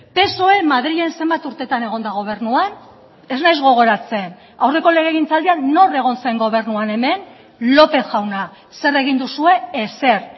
psoe madrilen zenbat urtetan egon da gobernuan ez naiz gogoratzen aurreko legegintzaldian nor egon zen gobernuan hemen lópez jauna zer egin duzue ezer